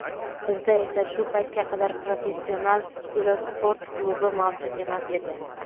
Bizda esa shu paytga qadar professional velosport klubi mavjud emas edi.